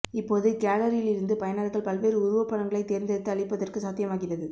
இப்போது கேலரியில் இருந்து பயனர்கள் பல்வேறு உருவப்படங்களைத் தேர்ந்தெடுத்து அழிப்பதற்கு சாத்தியமாகிறது